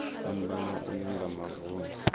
fhambana uya nga mavun ḓu